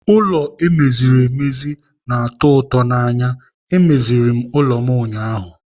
Ụlọ e meziri emezi na-atọ ụtọ n'anya. E meziri m ụlọ m ụnyaahụ.